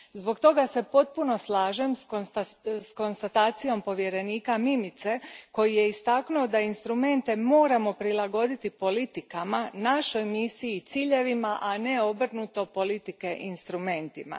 Zbog toga se potpuno slažem s konstatacijom povjerenika Mimice koji je istaknuo da instrumente moramo prilagoditi politikama, našoj misiji i ciljevima, a ne obrnuto politike instrumentima.